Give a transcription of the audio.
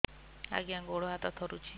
ଆଜ୍ଞା ଗୋଡ଼ ହାତ ଥରୁଛି